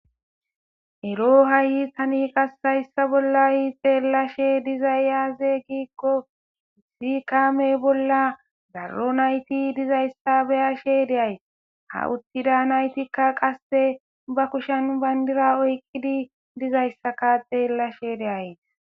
ero hayi tani qassayssa bolla ha'i xeellashe dizay aze giikqo issi kaame bolla darro nayti dizayssa beyashe deay ha uttida naytikka qasse ba kushen bayndira oyqidi dizayssaka xeellashe de'as